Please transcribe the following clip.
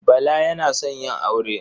Bala yana son yin aure.